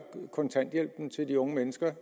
kontanthjælpen til de unge mennesker